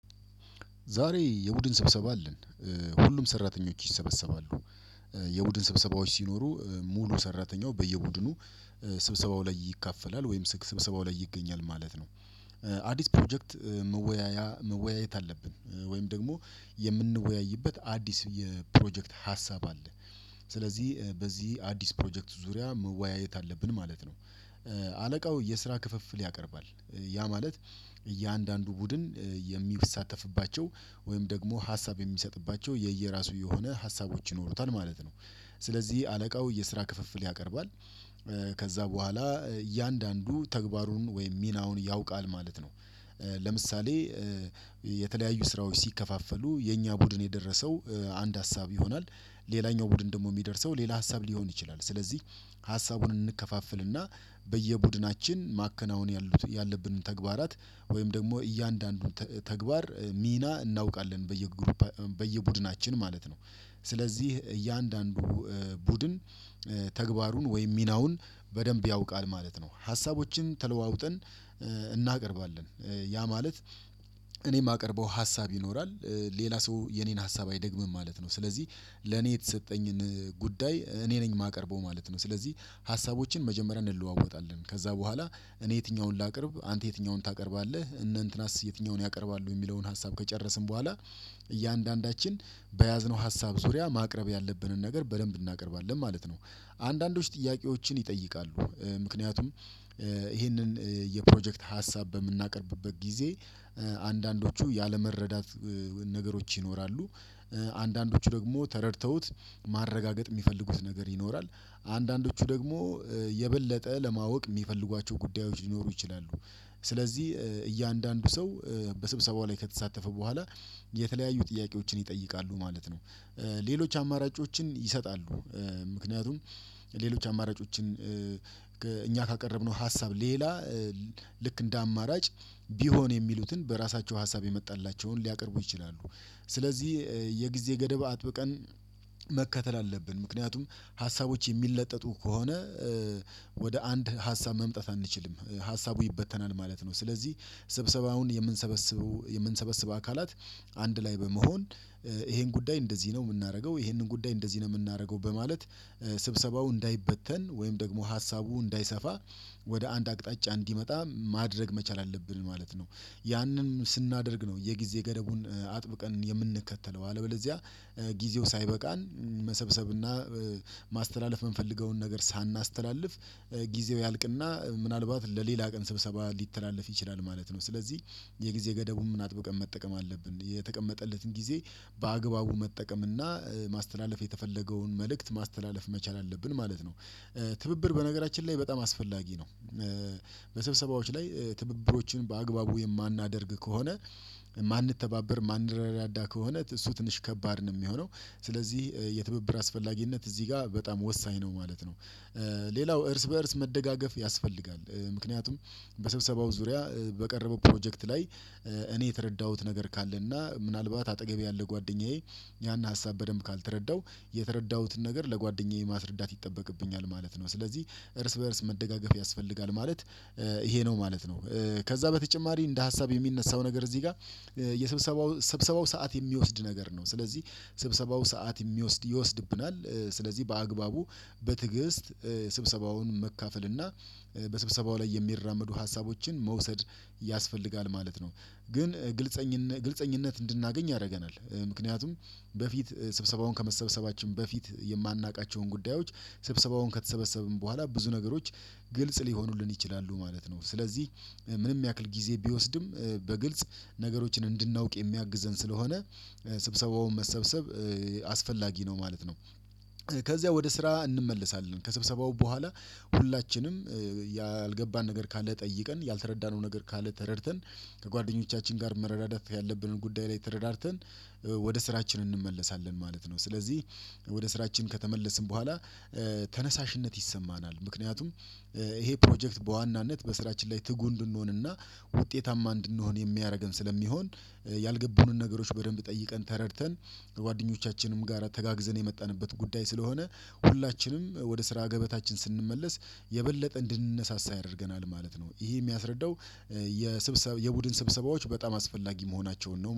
ዛሬ የቡድን ስብሰባ አለን። ሁሉም ሰራተኞች ይሰበሰባሉ የቡድን ስብሰባዎች ሲኖሩ ሙሉ ሰራተኛው በየቡድኑ ስብሰባው ላይ ይካፈላል ወይም ስብሰባው ላይ ይገኛል ማለት ነው። አዲስ ፕሮጀክት መወያያ መወያየት አለብን ወይም ደግሞ የምንወያይበት አዲስ የፕሮጀክት ሀሳብ አለ። ስለዚህ በዚህ አዲስ ፕሮጀክት ዙሪያ መወያየት አለብን ማለት ነው። አለቃው የስራ ክፍፍል ያቀርባል። ያ ማለት እያንዳንዱ ቡድን የሚያሳተፍባቸው ወይም ደግሞ ሀሳብ የሚሰጥባቸው የየራሱ የሆነ ሀሳቦች ይኖሩታል ማለት ነው። ስለዚህ አለቃው የስራ ክፍፍል ያቀርባል። ከዛ በኋላ እያንዳንዱ ተግባሩን ወይም ሚናውን ያውቃል ማለት ነው። ለምሳሌ የተለያዩ ስራዎች ሲከፋፈሉ የኛ ቡድን የደረሰው አንድ ሀሳብ ይሆናል። ሌላኛው ቡድን ደግሞ የሚደርሰው ሌላ ሀሳብ ሊሆን ይችላል። ስለዚህ ሀሳቡን እንከፋፍልና በየቡድናችን ማከናወን ያሉት ያለብንን ተግባራት ወይም ደግሞ እያንዳንዱን ተ ተግባር ሚና እናውቃለን በየጉሩፕ በየቡድናችን ማለት ነው። ስለዚህ እያንዳንዱ ቡድን ተግባሩን ወይም ሚናውን በደንብ ያውቃል ማለት ነው። ሀሳቦችን ተለዋውጠን እናቀርባለን ያ ማለት እኔ የማቀርበው ሀሳብ ይኖራል ሌላ ሰው የኔን ሀሳብ አይደግምም ማለት ነው። ስለዚህ ለኔ የተሰጠኝን ጉዳይ እኔ ነኝ የማቀርበው ማለት ነው። ስለዚህ ሀሳቦችን መጀመሪያ እንለዋወጣለን ከዛ በኋላ እኔ የትኛውን ላቅርብ አንተ የትኛውን ታቀርባለህ እነ እንትናስ የትኛውን ያቀርባሉ የሚለውን ሀሳብ ከጨረስን በኋላ እያንዳንዳችን በያዝነው ሀሳብ ዙሪያ ማቅረብ ያለብንን ነገር በደንብ እናቀርባለን ማለት ነው። አንዳንዶች ጥያቄዎችን ይጠይቃሉ ምክንያቱም ይህንን የፕሮጀክት ሀሳብ በምናቀርብበት ጊዜ አንዳንዶቹ ያለመረዳት ነገሮች ይኖራሉ አንዳንዶቹ ደግሞ ተረድተውት ማረጋገጥ የሚፈልጉት ነገር ይኖራል አንዳንዶቹ ደግሞ የበለጠ ለማወቅ የሚፈልጓቸው ጉዳዮች ሊኖሩ ይችላሉ ስለዚህ እያንዳንዱ ሰው በስብሰባው ላይ ከተሳተፈ በኋላ የተለያዩ ጥያቄዎችን ይጠይቃሉ ማለት ነው። ሌሎች አማራጮችን ይሰጣሉ። ምክንያቱም ሌሎች አማራጮችን እኛ ካቀረብነው ሀሳብ ሌላ ልክ እንደ አማራጭ ቢሆን የሚሉትን በራሳቸው ሀሳብ የመጣላቸውን ሊያቀርቡ ይችላሉ። ስለዚህ የጊዜ ገደብ አጥብቀን መከተል አለብን ምክንያቱም ሀሳቦች የሚለጠጡ ከሆነ ወደ አንድ ሀሳብ መምጣት አንችልም ሀሳቡ ይበተናል ማለት ነው። ስለዚህ ስብሰባውን የምንሰበስበው የምንሰበስበው አካላት አንድ ላይ በመሆን ይሄን ጉዳይ እንደዚህ ነው የምናደርገው ይሄንን ጉዳይ እንደዚህ ነው የምናደርገው በማለት ስብሰባው እንዳይበተን ወይም ደግሞ ሀሳቡ እንዳይሰፋ ወደ አንድ አቅጣጫ እንዲመጣ ማድረግ መቻል አለብን ማለት ነው። ያንን ስናደርግ ነው የጊዜ ገደቡን አጥብቀን የምንከተለው አለበለዚያ ጊዜው ሳይበቃን መሰብሰብና ማስተላለፍ የምንፈልገውን ነገር ሳናስተላልፍ ጊዜው ያልቅና ምናልባት ለሌላ ቀን ስብሰባ ሊተላለፍ ይችላል ማለት ነው። ስለዚህ የጊዜ ገደቡን ምን አጥብቀን መጠቀም አለብን የተቀመጠለትን ጊዜ በአግባቡ መጠቀም እና ማስተላለፍ የተፈለገውን መልእክት ማስተላለፍ መቻል አለብን ማለት ነው። ትብብር በነገራችን ላይ በጣም አስፈላጊ ነው። በስብሰባዎች ላይ ትብብሮችን በአግባቡ የማናደርግ ከሆነ የማንተባበር የማንረዳዳ ከሆነ እሱ ትንሽ ከባድ ነው የሚሆነው። ስለዚህ የትብብር አስፈላጊነት እዚህ ጋር በጣም ወሳኝ ነው ማለት ነው። ሌላው እርስ በእርስ መደጋገፍ ያስፈልጋል ምክንያቱም በስብሰባው ዙሪያ በቀረበው ፕሮጀክት ላይ እኔ የተረዳሁት ነገር ካለ እና ምናልባት አጠገቤ ያለ ጓደኛዬ ያን ሀሳብ በደንብ ካልተረዳው የተረዳሁትን ነገር ለጓደኛዬ ማስረዳት ይጠበቅብኛል ማለት ነው። ስለዚህ እርስ በእርስ መደጋገፍ ያስፈልጋል ማለት ይሄ ነው ማለት ነው። ከዛ በተጨማሪ እንደ ሀሳብ የሚነሳው ነገር እዚህ ጋር የስብሰባው ስብሰባው ሰዓት የሚወስድ ነገር ነው ስለዚህ ስብሰባው ሰዓት የሚወስድ ይወስድብናል። ስለዚህ በአግባቡ በትዕግስት ስብሰባውን መካፈል እና በስብሰባው ላይ የሚራመዱ ሀሳቦችን መውሰድ ያስፈልጋል ማለት ነው። ግን ግልፀኝነ ግልፀኝነት እንድናገኝ ያደርገናል። ምክንያቱም በፊት ስብሰባውን ከመሰብሰባችን በፊት የማናውቃቸውን ጉዳዮች ስብሰባውን ከተሰበሰብን በኋላ ብዙ ነገሮች ግልጽ ሊሆኑልን ይችላሉ ማለት ነው። ስለዚህ ምንም ያክል ጊዜ ቢወስድም በግልጽ ነገሮችን እንድናውቅ የሚያግዘን ስለሆነ ስብሰባውን መሰብሰብ አስፈላጊ ነው ማለት ነው። ከዚያ ወደ ስራ እንመለሳለን ከስብሰባው በኋላ ሁላችንም ያልገባን ነገር ካለ ጠይቀን ያልተረዳነው ነገር ካለ ተረድተን ከጓደኞቻችን ጋር መረዳደት ያለብንን ጉዳይ ላይ ተረዳርተን ወደ ስራችን እንመለሳለን ማለት ነው። ስለዚህ ወደ ስራችን ከተመለስን በኋላ ተነሳሽነት ይሰማናል ምክንያቱም ይሄ ፕሮጀክት በዋናነት በስራችን ላይ ትጉ እንድንሆንና ውጤታማ እንድንሆን የሚያደርገን ስለሚሆን ያልገቡንን ነገሮች በደንብ ጠይቀን ተረድተን ከጓደኞቻችንም ጋራ ተጋግዘን የመጣንበት ጉዳይ ስለሆነ ሁላችንም ወደ ስራ ገበታችን ስንመለስ የበለጠ እንድንነሳሳ ያደርገናል ማለት ነው። ይሄ የሚያስረዳው የስብሰባ የቡድን ስብሰባዎች በጣም አስፈላጊ መሆናቸውን ነው